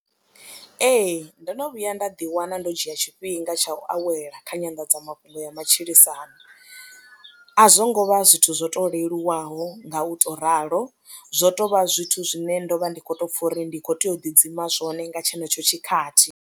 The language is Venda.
Ee, ndo no vhuya nda ḓiwana ndo dzhia tshifhinga tsha u awela kha nyanḓadzamafhungo ya matshilisano, a zwo ngo vha zwithu zwo to leluwaho nga u tou ralo zwo tou vha zwithu zwine ndo vha ndi khou tou pfha uri ndi khou tea u ḓidzima zwone nga tshenetsho tshikhathi.